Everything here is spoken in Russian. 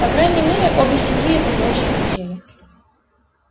по крайней мере обе семьи этого очень хотели